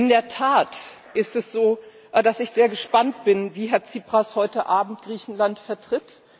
In der Tat ist es so, dass ich sehr gespannt bin, wie Herr Tsipras heute Abend Griechenland vertritt.